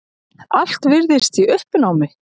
Allt virðist í uppnámi.